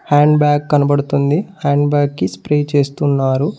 Hand bag కనబడుతుంది hand bag కి spray చేస్తున్నారు.